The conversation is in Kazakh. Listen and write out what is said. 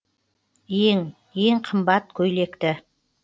ең ең қымбат көйлекті